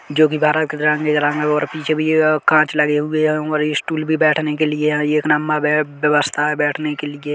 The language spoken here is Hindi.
--जो की बारह और पीछे भी कांच लगे हुए है और ये स्टूल भी बैठने के लिए है एक नंबर बे व्यवस्था है बैठने के लिए।